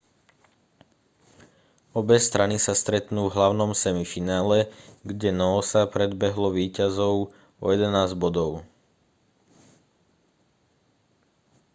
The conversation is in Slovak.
obe strany sa stretnú v hlavnom semifinále kde noosa predbehlo víťazov o 11 bodov